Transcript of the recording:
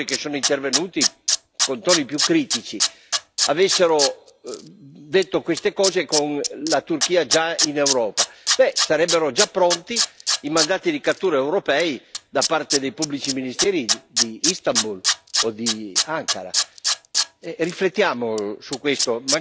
Supponiamo che alcuni degli oratori che sono intervenuti con toni più critici avessero detto queste cose con la Turchia già in Europa sarebbero già pronti i mandati di cattura europei da parte dei pubblici ministeri di Istanbul o di Ankara.